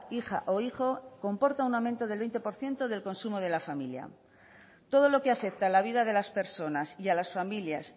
hija o hijo comporta un aumento del veinte por ciento del consumo de la familia todo lo que afecta a la vida de las personas y a las familias